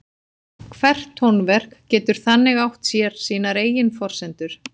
Hvert tónverk getur þannig átt sér sínar eigin forsendur.